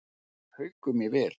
Haukum í vil